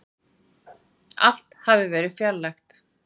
Allt hafði verið fjarlægt.